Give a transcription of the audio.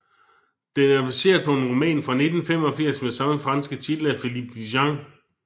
Den er baseret på en roman fra 1985 med samme franske titel af Philippe Djian